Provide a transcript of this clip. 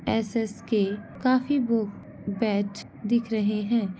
ऐस_ऐस_के काफी बू-बैट दिख रहे हैं।